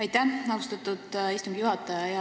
Aitäh, austatud istungi juhataja!